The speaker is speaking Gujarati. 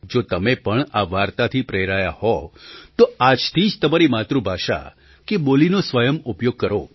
જો તમે પણ આ વાર્તાથી પ્રેરાયા હો તો આજથી જ તમારી માતૃભાષા કે બોલીનો સ્વયં ઉપયોગ કરો